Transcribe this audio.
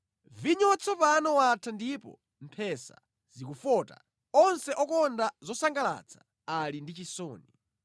Vinyo watsopano watha ndipo mphesa zikufota; onse okonda zosangalatsa ali ndi chisoni.